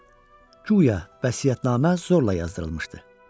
guya vəsiyyətnamə zorla yazdırılmışdı.